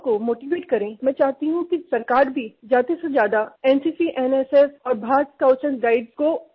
मैं चाहती हूँ कि सरकार भी ज़्यादा से ज़्यादा एनसीसी एनएसएस और भारत स्काउट्स एंड गाइड्स को प्रोमोट करे